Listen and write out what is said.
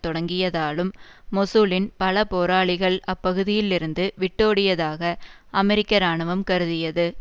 தொடங்கியதாலும் மொசூலின் பல போராளிகள் அப்பகுதிகளில் இருந்து விட்டோடியதாக அமெரிக்க இராணுவம் கருதியது